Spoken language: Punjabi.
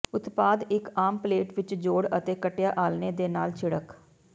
ਉਤਪਾਦ ਇੱਕ ਆਮ ਪਲੇਟ ਵਿੱਚ ਜੋੜ ਅਤੇ ਕੱਟਿਆ ਆਲ੍ਹਣੇ ਦੇ ਨਾਲ ਛਿੜਕ